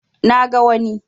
Na ga wani